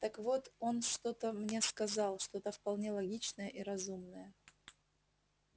так вот он что-то мне сказал что-то вполне логичное и разумное